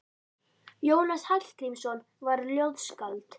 Jónas Hallgrímsson var ljóðskáld.